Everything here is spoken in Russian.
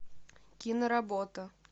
киноработа